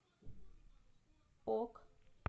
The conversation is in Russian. ок